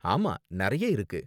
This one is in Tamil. ஆமா, நிறைய இருக்கு.